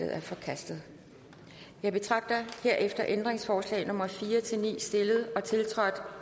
er forkastet jeg betragter herefter ændringsforslag nummer fire ni stillet og tiltrådt